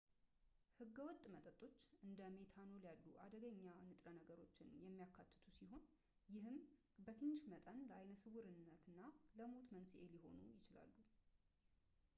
ህገወጥ መጠጦች እንደ ሜታኖል ያሉ አደገኛ ንጥረ ነገሮችን የሚያካትቱ ሲሆን ይህም በትንሽ መጠን ለአይነ ስውርነትና ለሞት መንስኤ ሊሆኑ ይችላሉ